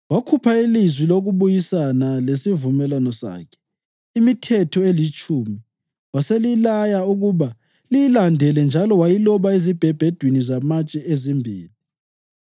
Wakhupha ilizwi lokubuyisana lesivumelwano sakhe, imiThetho eliTshumi, waselilaya ukuba liyilandele njalo wayiloba ezibhebhedwini zamatshe ezimbili.